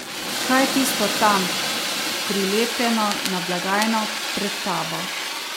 Kaj je tisto tam, prilepljeno na blagajno, pred tabo?